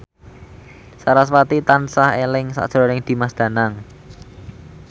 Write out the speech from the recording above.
sarasvati tansah eling sakjroning Dimas Danang